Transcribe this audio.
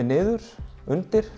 niður